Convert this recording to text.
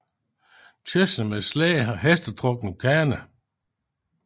Kørsel med slæde og hestetrukken kane